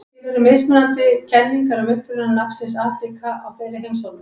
til eru mismunandi kenningar um uppruna nafnsins afríka á þeirri heimsálfu